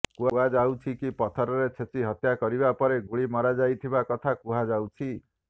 କୁହାଯାଉଛି କି ପଥରରେ ଛେଚି ହତ୍ୟା କରିବା ପରେ ଗୁଳି ମରାଯାଇଥିବା କଥା କୁହାଯାଉଛି